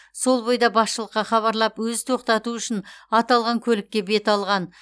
сол бойда басшылыққа хабарлап өзі тоқтату үшін аталған көлікке бет алған